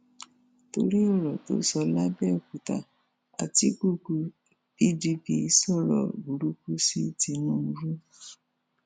torí ọrọ tó sọ làbẹòkúta àtikukù pdp sọrọ burúkú sí tìǹbù